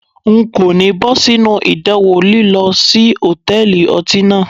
N kò ní bọ́ sínú idanwo lílọ sí Hòtẹ́lìì ọtí náà.